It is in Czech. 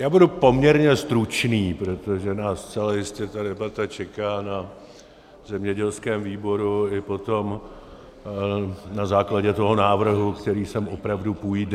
Já budu poměrně stručný, protože nás zcela jistě ta debata čeká na zemědělském výboru i potom na základě toho návrhu, který sem opravdu půjde.